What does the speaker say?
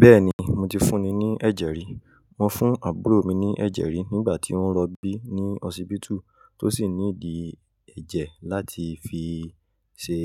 Bẹ́ẹ̀ni, mo ti fún ni ní ẹ̀jẹ̀ rí. Mo fún àbúrò mi ní ẹ̀jẹ̀ rí nígbà tí ó ń rọbí ní hósipítù tó sì nídìí ẹ̀jẹ̀ láti fi ṣe,